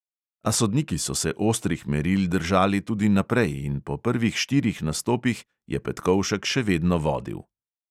A sodniki so se ostrih meril držali tudi naprej in po prvih štirih nastopih je petkovšek še vedno vodil.